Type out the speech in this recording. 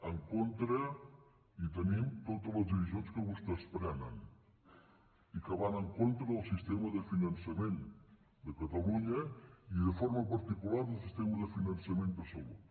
en contra hi tenim totes les decisions que vostès prenen i que van en contra del sistema de finançament de catalunya i de forma particular del sistema de finançament de salut